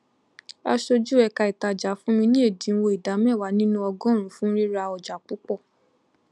aṣojú ẹka ìtajà fún mi ní ẹdínwó ìdá mẹwàá nínú ọgọrùnún fún rira ọjà púpọ